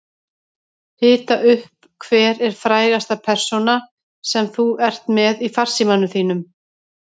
Hita upp Hver er frægasta persónan sem þú ert með í farsímanum þínum?